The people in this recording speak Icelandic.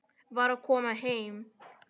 Var að koma heim.